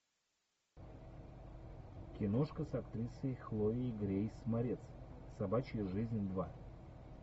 киношка с актрисой хлоей грейс морец собачья жизнь два